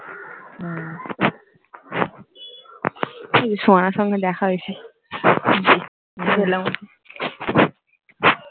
সোহানা এর সঙ্গে দেখা হয়েছে, গেলাম